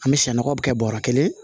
An bɛ sɛ nɔgɔ bɛ kɛ bɔrɔ kelen